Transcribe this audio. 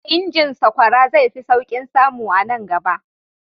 Injin sakwara zai fi sauƙin samu a nan gaba.